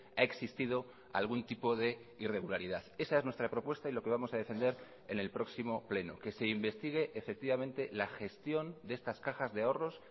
ha existido algún tipo de irregularidad esa es nuestra propuesta y lo que vamos a defender en el próximo pleno que se investigue efectivamente la gestión de estas cajas de ahorros